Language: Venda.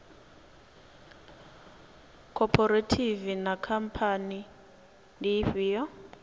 khophorethivi na khamphani ndi ifhio